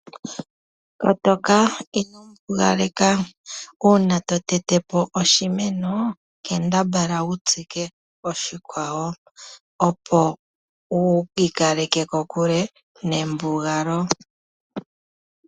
Kotoka ino mbugaleka, uuna to tete po oshimeno, kambadhala wu tsike oshikwawo, opo wu ikaleke kokuke nembugalo.